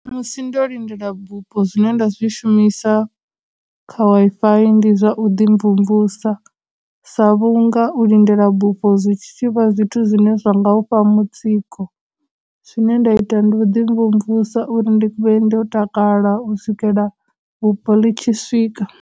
Musi ndo lindela bupo zwine nda zwi shumisa kha Wi-Fi ndi zwa u ḓi mvumvusa sa vhunga u lindela bufho zwi tshi vha zwithu zwine zwa nga u fha mutsiko, zwine nda ita ndi u ḓi mvumvusa uri ndi vhe ndo takala u swikela vhupo ḽi tshi swika.